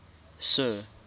sir